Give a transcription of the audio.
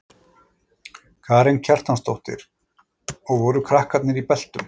Karen Kjartansdóttir: Og voru krakkarnir í beltum?